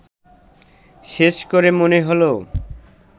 শেষ করে মনে হলো